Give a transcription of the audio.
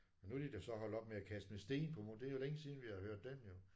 Men nu er de da så holdt op med at kaste med sten på det er længe siden vi har hørt den jo